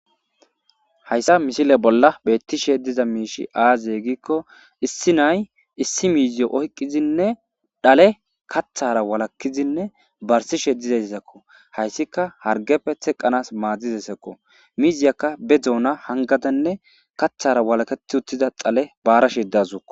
Hayssa missile bola bettishe diza mishsh aze gikko issi na'ay issi miziyo oyqidine dhalle kaththara walakidi barsishe dizakko hayissika hargeppet teqanas maddizaysakko mizziyaka be doona hanngada kaththara walakettida uttida dhalle barashe dazukko.